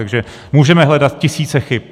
Takže můžeme hledat tisíce chyb.